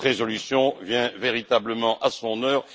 Cette résolution vient véritablement à son heure.